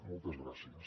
moltes gràcies